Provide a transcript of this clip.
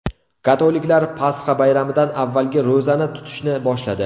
Katoliklar Pasxa bayramidan avvalgi ro‘zani tutishni boshladi.